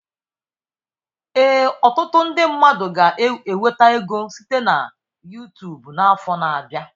Ee, ọtụtụ ndi mmadụ ga enweta ego site na Yutubu n'afọ na abịa.